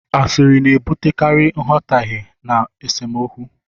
Asịrị na-ebutekarị nghọtahie na esemokwu.